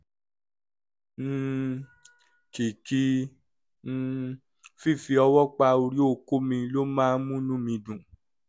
um kìkì um fífi ọwọ́ pa orí okó mi ló máa ń múnú mi dùn